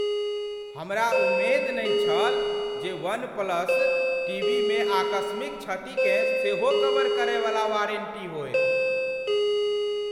हमरा उम्मेद नहि छल जे वन प्लस टीवीमे आकस्मिक क्षतिकेँ सेहो कवर करयवला वारन्टी होयत।